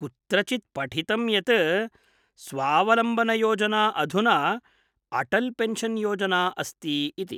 कुत्रचित् पठितं यत् स्वावलम्बनयोजना अधुना अटल्पेन्शन्-योजना अस्ति इति।